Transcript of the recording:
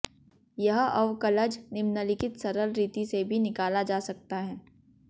यह अवकलज निम्नलिखित सरल रीति से भी निकाला जा सकता है